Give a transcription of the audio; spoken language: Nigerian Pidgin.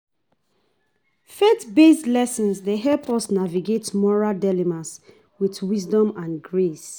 Faith-based lessons dey help us navigate moral dilemmas with wisdom and grace.